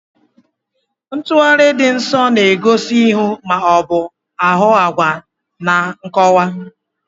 Ntugharị dị nso na-egosi ihu ma ọ bụ ahụ agwa na nkọwa.